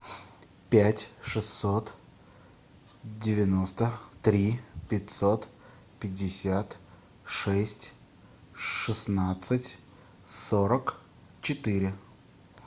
пять шестьсот девяносто три пятьсот пятьдесят шесть шестнадцать сорок четыре